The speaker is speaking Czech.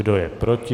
Kdo je proti?